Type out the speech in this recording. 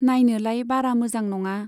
नायनोलाय बारा मोजां नंआ।